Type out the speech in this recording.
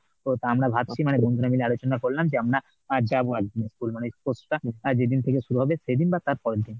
তো তা আমরা ভাবছি মানে বন্ধুরা মিলে আলোচনা করলাম যে আমরা অ্যাঁ যাব একদিন school মানে sports টা যেদিন থেকে শুরু হবে সেদিন বা তার পরের দিন।